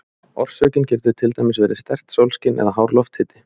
Orsökin getur til dæmis verið sterkt sólskin eða hár lofthiti.